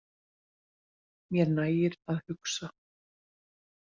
Mér nægir að hugsa.